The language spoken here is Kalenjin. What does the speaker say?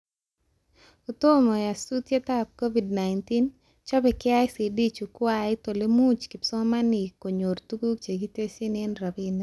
Kotom nyasutieab Covid-19,chobe KICD chukwait olemuch kipsomanink konyor tuguk chekitesyi eng robinik